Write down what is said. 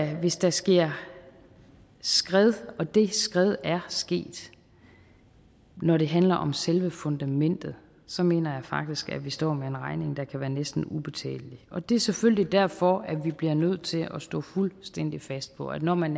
at hvis der sker et skred og det skred er sket når det handler om selve fundamentet så mener jeg faktisk at vi står med en regning der kan være næsten ubetalelig og det er selvfølgelig derfor at vi bliver nødt til at stå fuldstændig fast på at når man